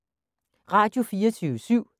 Radio24syv